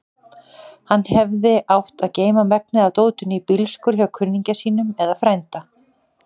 Hann hefði átt að geyma megnið af dótinu í bílskúr hjá kunningja sínum eða frænda.